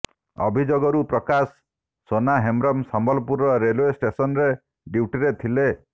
ଅଭିଯୋଗରୁ Prakash Sona Hembram Sambalpur railway ଷ୍ଟେସନ୍ରେ ଡ୍ୟୁଟିରେ ଥିଲେ